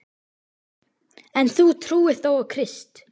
En þú trúir þó á Krist?